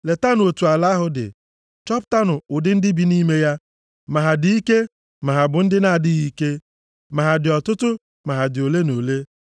Letanụ otu ala ahụ dị. Chọpụtanụ ụdị ndị bi nʼime ya, ma ha dị ike ma ha bụ ndị na-adịghị ike, ma ha dị ọtụtụ ma ha dị ole na ole.